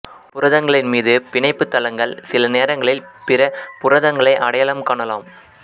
புரதங்களின் மீது பிணைப்பு தளங்கள் சில நேரங்களில் பிற புரதங்களை அடையாளம் காணலாம்